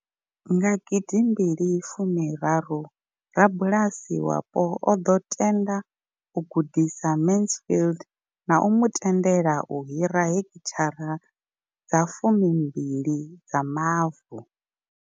Nga gidimbili fumi raru, rabulasi wapo o ḓo tenda u gudisa Mansfield na u mu tendela u hira heki thara dza fumi mbili dza mavu.